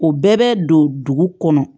O bɛɛ bɛ don dugu kɔnɔ